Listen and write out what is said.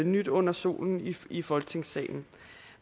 nyt under solen i folketingssalen